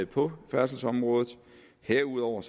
på færdselsområdet herudover